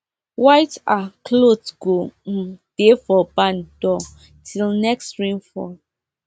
white um cloth go um dey for barn door till next rain fall